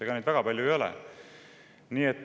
Ega neid väga palju ei ole.